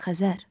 Xəzər.